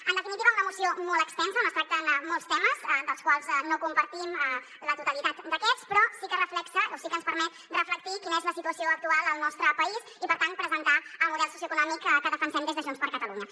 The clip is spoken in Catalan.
en definitiva una moció molt extensa on es tracten molts temes dels quals no compartim la totalitat d’aquests però sí que reflecteix o sí que ens permet reflectir quina és la situació actual al nostre país i per tant presentar el model socioeconòmic que defensem des de junts per catalunya